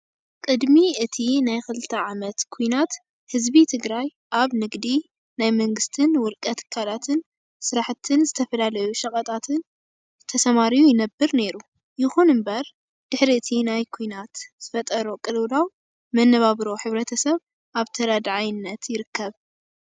ቅድሚ እቲ ናይ 2ተ ዓመት ኵናት ህዝቢ ትግራይ ኣብ ንግዲ፣ ናይ መንግስትን ውልቀ ትካላትን ስራሕትን ዝተፈላለዩ ሸቀጣትን ተሰማርዩ ይነብር ነይሩ። ይኹን እምበር ድሕሪ እቲ ኵናት ዝፈጠሮ ቅልውላው መነባብሮ ሕብረተሰብ ኣብ ተረዳዓይነትን ይርከብ።